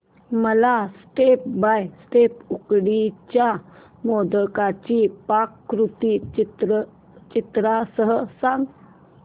मला step by step उकडीच्या मोदकांची पाककृती चित्रांसह सांग